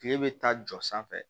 Kile bɛ taa jɔ sanfɛ